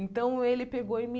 Então, ele pegou e me